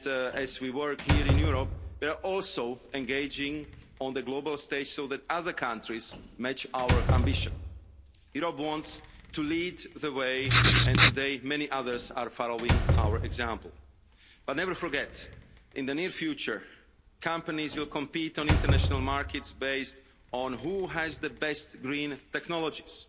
As we work here in Europe, they are also engaging on the global stage so that other countries match our ambition. Europe wants to lead the way and today many others are following our example but never forget that in the near future companies will compete on international markets based on who has the best green technologies.